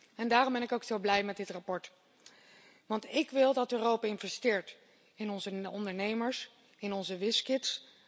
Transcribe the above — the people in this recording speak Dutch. En daarom ben ik ook zo blij met dit verslag. Want ik wil dat Europa investeert in onze ondernemers, in onze whizzkids.